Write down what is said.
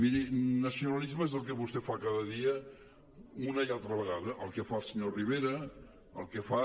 miri nacionalisme és el que vostè fa cada dia una i altra vegada el que fa el senyor rivera el que fa